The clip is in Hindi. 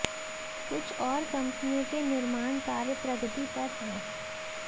कुछ और कंपनियों के निर्माण कार्य प्रगति पर हैं